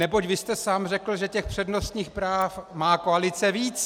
Neboť vy jste sám řekl, že těch přednostních práv má koalice víc.